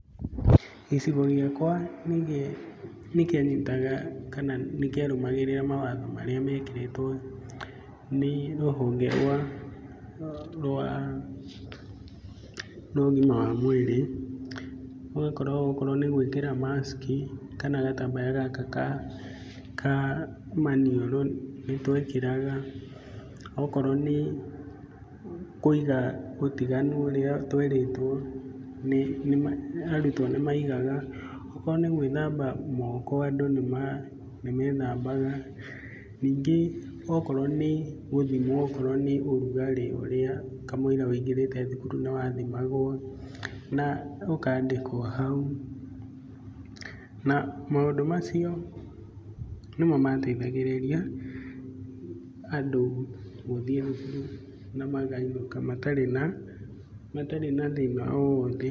Gĩcigo gĩakwa nĩ kĩanyita kana kĩa rũmagĩrĩra mawatho marĩa mekĩrĩtwo nĩ tũhonge rwa, rwa ũgima wa mwĩrĩ, ũgakorwo okorwo nĩ gwĩkĩra mask kana gatambaya gaka ka maniũrũ nĩ twekĩraga, okorwo nĩ kũiga ũtiganu ũrĩa twerĩtwo, arutwo nĩ maigaga, okorwo nĩ gwĩthamba moko andũ nĩmethambaga, ningĩ akorwo nĩ gũthimwo ũrugarĩ ũrĩa kamũira wũingĩrĩte thukuru nĩ wa thimagwo na ũkandĩkwo hau, na maũndũ macio nĩmo mateithagĩrĩria andũ gũthiĩ na makainũka matarĩ na, matarĩ na thĩna o wothe.